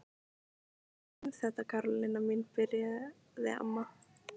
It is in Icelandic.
Láttu mig um þetta Karólína mín byrjaði amma.